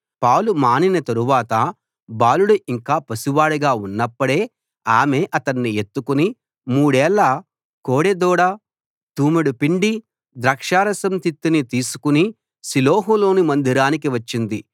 పాలు మానిన తరువాత బాలుడు ఇంకా పసి వాడుగా ఉన్నప్పుడే ఆమె అతణ్ణి ఎత్తుకుని మూడేళ్ళ కోడెదూడ తూమెడు పిండి ద్రాక్షారసం తిత్తిని తీసుకు షిలోహులోని మందిరానికి వచ్చింది